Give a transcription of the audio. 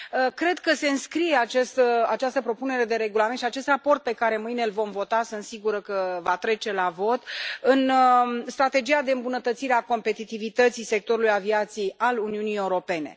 Cred că se înscrie această propunere de regulament și acest raport pe care mâine îl vom vota sunt sigură că va trece la vot în strategia de îmbunătățire a competitivității sectorului aviației al Uniunii Europene.